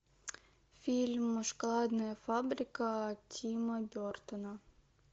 фильм шоколадная фабрика тима бертона